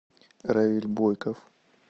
равиль бойков